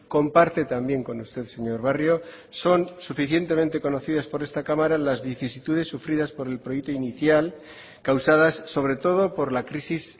comparte también con usted señor barrio son suficientemente conocidas por esta cámara las vicisitudes sufridas por el proyecto inicial causadas sobre todo por la crisis